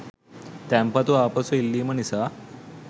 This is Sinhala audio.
තැන්පතු ආපසු ඉල්ලීම නිසා